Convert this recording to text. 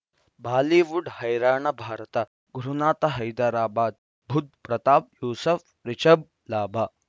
Bollywood ಹೈರಾಣ ಭಾರತ ಗುರುನಾಥ ಹೈದರಾಬಾದ್ ಬುಧ್ ಪ್ರತಾಪ್ ಯೂಸುಫ್ ರಿಷಬ್ ಲಾಭ